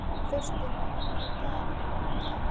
Þórsteina, opnaðu dagatalið mitt.